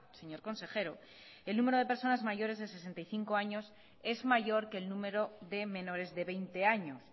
señor consejero el número de personas mayores de sesenta y cinco años es mayor que el número de menores de veinte años